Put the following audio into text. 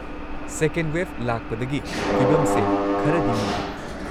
ꯁꯦꯀꯦꯟ wave ꯂꯥꯛꯄꯗꯒꯤ ꯐꯤꯚꯝꯁꯦ ꯈꯔꯗꯤ ꯂꯨꯔꯦ꯫